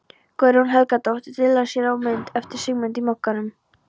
Guðrún Helgadóttir dillar sér á mynd eftir Sigmund í Mogganum.